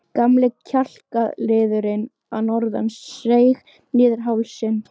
Gamli kjálkaliðurinn að norðan seig niður hálsinn.